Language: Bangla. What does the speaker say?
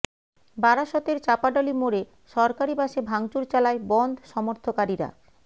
বারাসতের চাঁপাডালি মোড়ে সরকারি বাসে ভাঙচুর চালায় বনধ সমর্থকারীরা